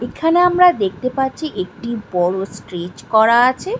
এখানে আমরা দেখতে পাচ্ছি একটি বড় স্টেজ করা আছে।